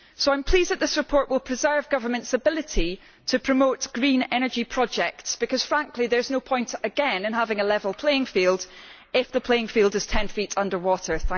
So I am pleased that this report will preserve governments' ability to promote green energy projects because, frankly, there is no point in having a level playing field if the playing field is ten feet underwater.